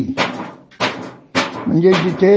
त्यांनी त्या नोकरांना कमीच करून टाकला.